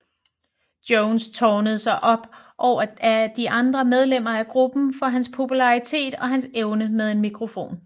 Jones tårnede sig op over de andre medlemmer af gruppen for hans popularitet og hans evner med en mikrofon